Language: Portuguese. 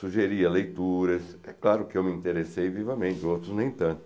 Sugeria leituras, é claro que eu me interessei vivamente, outros nem tanto.